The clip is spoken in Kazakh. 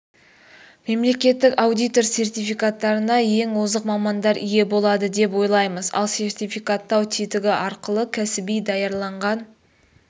мемлекеттік аудитор сертификаттарына ең озық мамандар ие болады деп ойлаймыз ал сертификаттау тетігі арқылы кәсіби даярланған